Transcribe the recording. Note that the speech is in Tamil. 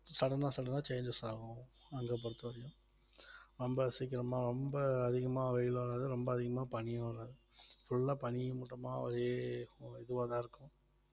sudden ஆ sudden ஆ changes ஆகும் அங்க பொறுத்தவரையிலும் ரொம்ப சீக்கிரமா ரொம்ப அதிகமா வெயில் வராது ரொம்ப அதிகமா பனியும் வராது full ஆ பனியும் மூட்டமா ஒரே ஒரு இதுவாதான் இருக்கும்